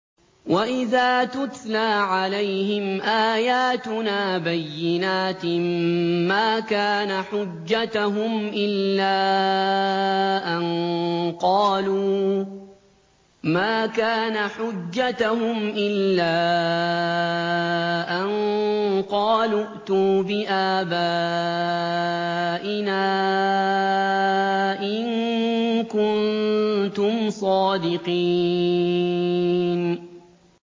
وَإِذَا تُتْلَىٰ عَلَيْهِمْ آيَاتُنَا بَيِّنَاتٍ مَّا كَانَ حُجَّتَهُمْ إِلَّا أَن قَالُوا ائْتُوا بِآبَائِنَا إِن كُنتُمْ صَادِقِينَ